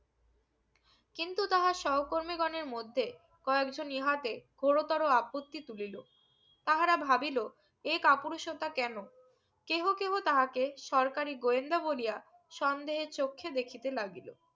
কিন্তু তাঁহা সহকর্মী গনের মধ্যে কয়েকজন ইহাতে গোর তোর আপত্তি তুলিলো তাহারা ভাবিলো এ কাপুরুষতা কেনো কেহো কেহো তাহাকে সরকারি গোয়েন্দা বলিয়া সন্দেহের চোখখে দেখিতে লাগিলো